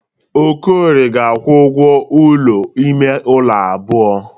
Okorie ga-akwụ ụgwọ ụlọ ime ụlọ abụọ.